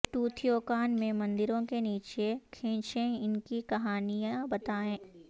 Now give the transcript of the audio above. Teotihuacan میں مندروں کے نیچے کھینچیں ان کی کہانیاں بتائیں